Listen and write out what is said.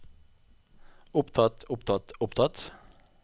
opptatt opptatt opptatt